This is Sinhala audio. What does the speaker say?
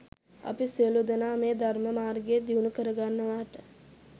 අපි සියලූ දෙනා මේ ධර්ම මාර්ගය දියුණු කරගන්නවාට